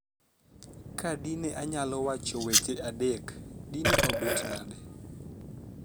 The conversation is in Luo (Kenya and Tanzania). Ka dine anyalo wacho weche adek, dine obet nade